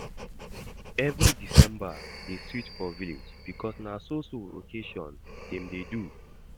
Every december dey sweet for village because na so so occasion dem dey do